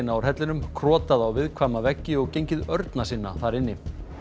úr hellinum krotað á viðkvæma veggi og gengið örna sinna þar inni